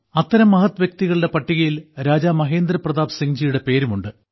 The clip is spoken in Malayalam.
അത്തരം മഹത്വ്യക്തികളുടെ പട്ടികയിൽ രാജാ മഹേന്ദ്രപ്രതാപ് സിംഗ്ജിയുടെ പേരും ഉണ്ട്